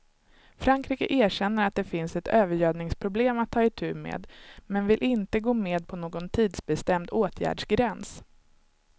Frankrike erkänner att det finns ett övergödningsproblem att ta itu med men vill inte gå med på någon tidsbestämd åtgärdsgräns.